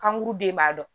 Kankuru den b'a dɔn